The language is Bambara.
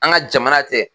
An ka jamana tɛ